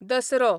Dussehra